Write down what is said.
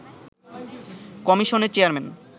কমিশনের চেয়ারম্যান